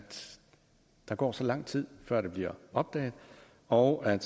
der går så lang tid før det bliver opdaget og at